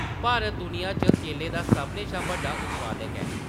भारत, दुनिया च केलें दा सभनें शा बड्डा उत्पादक ऐ ।